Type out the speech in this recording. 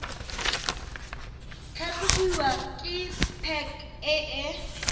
tlhatlhobiwa ke pac e e